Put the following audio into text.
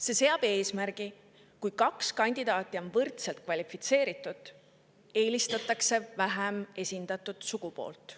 See seab eesmärgi: kui kaks kandidaati on võrdselt kvalifitseeritud, eelistatakse vähem esindatud sugupoolt.